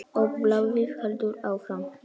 Og blaðið heldur áfram